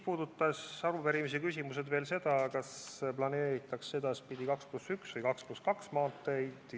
Arupärimise küsimused puudutasid veel seda, kas edaspidi planeeritakse 2 + 1 või 2 + 2 maanteid.